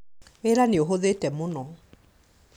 Wĩra nĩũhũthĩte mũno